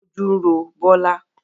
Ojú ń ro Bola